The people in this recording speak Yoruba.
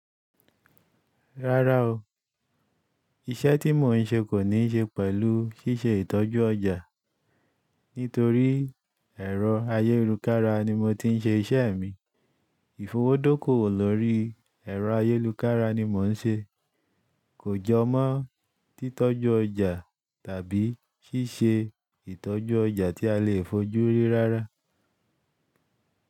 Rárá o, iṣẹ́ tí mò ń ṣe kò ní ṣe pẹ̀lú ṣíṣe ìtọ́jú ọjà. Nítorí ẹ̀rọ ayélujára ni mo ti ń ṣe iṣẹ́ mi. Ìfowódókò lórí ẹ̀rọ ayélujára ni mò ń ṣe. Kò jọ mọ́ titọ́jú ọjà tàbí ṣíṣe ìtọ́jú ọjà tí a lè fojú rí rárá.